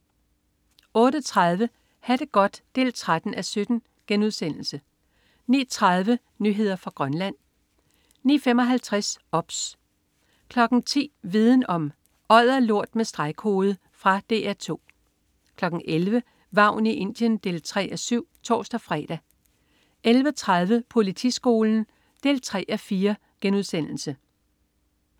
08.30 Ha' det godt 13:17* 09.30 Nyheder fra Grønland 09.55 OBS 10.00 Viden om: Odderlort med stregkode. Fra DR 2 11.00 Vagn i Indien 3:7 (tors-fre) 11.30 Politiskolen 3:4*